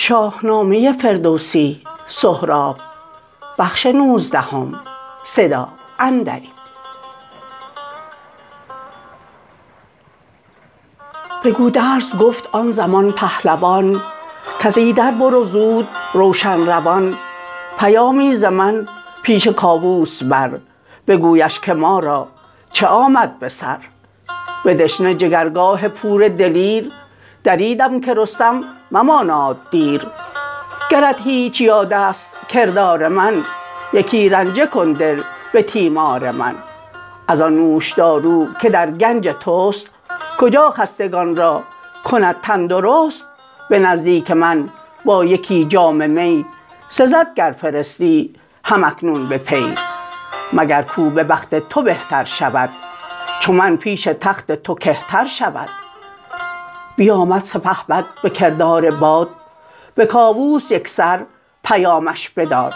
به گودرز گفت آن زمان پهلوان کز ایدر برو زود روشن روان پیامی ز من پیش کاووس بر بگویش که مارا چه آمد به سر به دشنه جگرگاه پور دلیر دریدم که رستم مماناد دیر گرت هیچ یادست کردار من یکی رنجه کن دل به تیمار من ازان نوشدارو که در گنج تست کجا خستگان را کند تن درست به نزدیک من با یکی جام می سزد گر فرستی هم اکنون به پی مگر کاو ببخت تو بهتر شود چو من پیش تخت تو کهتر شود بیامد سپهبد بکردار باد به کاووس یکسر پیامش بداد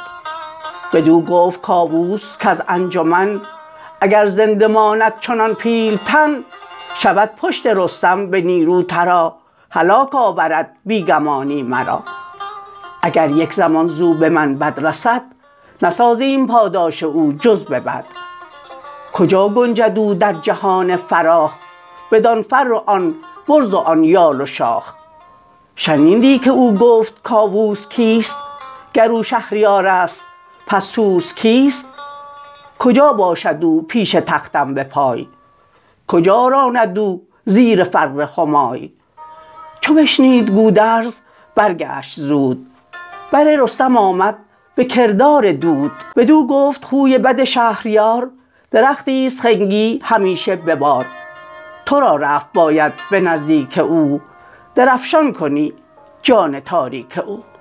بدو گفت کاووس کز انجمن اگر زنده ماند چنان پیلتن شود پشت رستم به نیرو ترا هلاک آورد بی گمانی مرا اگر یک زمان زو به من بد رسد نسازیم پاداش او جز به بد کجا گنجد او در جهان فراخ بدان فر و آن برز و آن یال و شاخ شنیدی که او گفت کاووس کیست گر او شهریارست پس طوس کیست کجا باشد او پیش تختم به پای کجا راند او زیر فر همای چو بشنید گودرز برگشت زود بر رستم آمد به کردار دود بدو گفت خوی بد شهریار درختیست خنگی همیشه به بار ترا رفت باید به نزدیک او درفشان کنی جان تاریک او